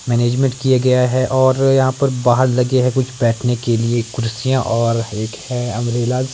management किया गया है और यहां पर बाहर लगे हैं कुछ बैठने के लिए कुर्सियां और एकह अम्ब्रेला स--